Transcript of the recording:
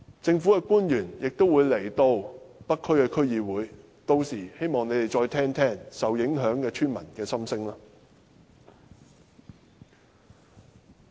政府官員明天會到北區區議會，屆時希望他們會再聆聽受影響村民的心聲。